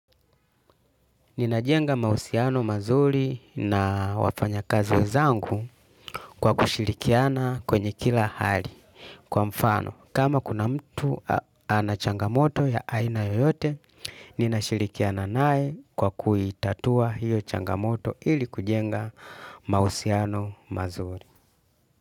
Ninajenga mahusiano mazuri na wafanya kazi wezangu kwa kushirikiana kwenye kila hali. Kwa mfano kama kuna mtu ana changamoto ya aina yoyote ninashirikiana naye kwa kuitatua hiyo changamoto ili kujenga mahusiano mazuri.